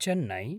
Chennai